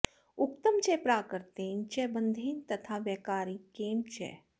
उक्तं च प्राकृतेन च बन्धेन तथा वैकारिकेण च